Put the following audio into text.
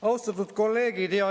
Austatud kolleegid!